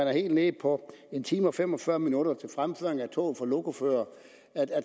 er helt nede på en time og fem og fyrre minutter til fremføring af tog for lokoførere